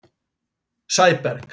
Sæberg